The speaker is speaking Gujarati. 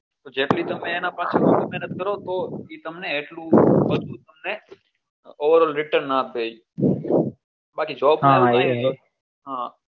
જેટલી તમે એના પાછળ મહેનત કરો છો એ તમને એટલું return